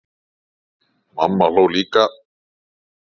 Mamma hló líka.